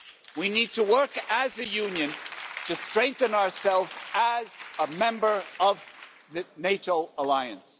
We need to work as a union to strengthen ourselves as a member of the NATO alliance.